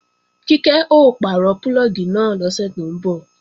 Kíkẹ́ ó pàrọ̀ púlọ̀gì náà lọ́sẹ̀ tó ń bọ̀